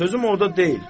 Sözüm orda deyil.